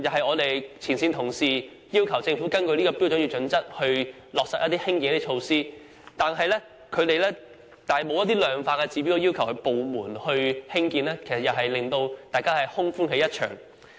我們的前線同事要求政府根據《規劃標準》在社區落實興建一些設施，但政府卻以《規劃標準》的一些量化指標拒絕興建，令大家空歡喜一場。